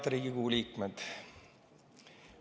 Head Riigikogu liikmed!